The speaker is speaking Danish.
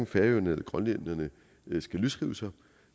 færingerne eller grønlænderne skal løsrive sig